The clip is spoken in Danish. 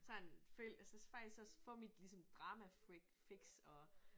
Sådan følg jeg synes faktisk også får mit ligesom sådan dramafix og